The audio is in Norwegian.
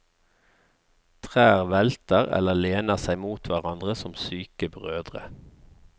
Trær velter, eller lener seg mot hverandre som syke brødre.